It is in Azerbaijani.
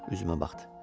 Üzümə baxdı.